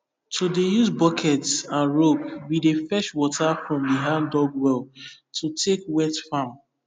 to dey use buckets and ropes we dey fetch water from the handdug well to take wet farm